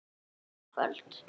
Annað kvöld??